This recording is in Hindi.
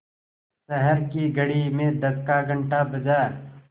शहर की घड़ी में दस का घण्टा बजा